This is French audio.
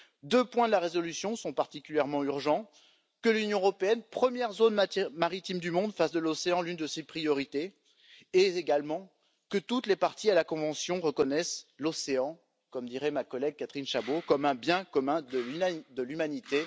Deux points de la résolution sont particulièrement urgents que l'Union européenne, première zone maritime du monde, fasse de l'océan l'une de ses priorités, et également que toutes les parties à la convention reconnaissent l'océan, comme dirait ma collègue Catherine Chabaud, comme un bien commun de l'humanité.